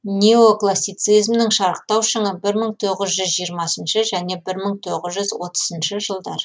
неоклассицизмнің шарықтау шыңы бір мың тоғыз жүз жиырмасыншы және бір мың тоғыз жүз отызыншы жылдар